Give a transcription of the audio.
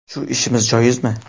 Shu ishimiz joizmi?”.